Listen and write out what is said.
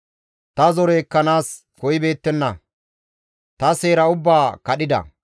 Ta zore ekkanaas koyibeettenna; ta seera ubbaa kadhida.